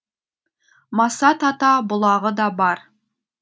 масат ата бұлағы да бар